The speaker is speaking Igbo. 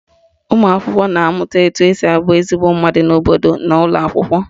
Ụmụakwụkwọ na-amụta etu esi abụ ezigbo mmadụ n'obodo n'ụlọakwụkwọ